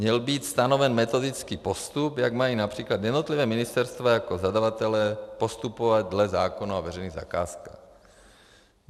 Měl být stanoven metodický postup, jak mají například jednotlivá ministerstva jako zadavatelé postupovat dle zákona o veřejných zakázkách.